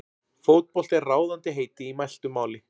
Fótbolti er ráðandi heiti í mæltu máli.